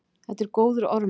Þetta er góður ormur.